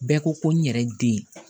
Bɛɛ ko ko n yɛrɛ den